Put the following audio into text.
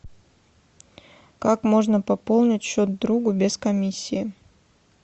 как можно пополнить счет другу без комиссии